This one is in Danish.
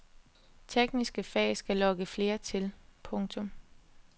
Tekniske fag skal lokke flere til. punktum